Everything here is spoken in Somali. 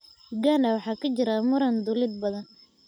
Uganda waxaa ka jira muran dhuleed badan.